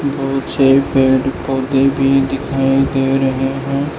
मुझे पेड़ पौधे भी दिखाई दे रहे हैं।